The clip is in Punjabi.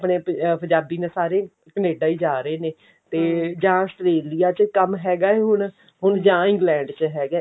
ਆਪਣੇ ਪੰਜਾਬ ਨੇ ਸਾਰੇ ਕਨੇਡਾ ਹੀ ਜਾ ਰਹੇ ਨੇ ਜਾਂ Australia ਚ ਕੰਮ ਹੈਗਾ ਹੁਣ ਜਾਂ England ਚ ਹੈਗਾ